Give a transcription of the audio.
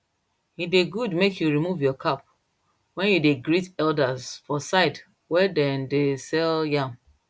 e de good make you remove your cap when you dey greet elders for side wey dem de sell yam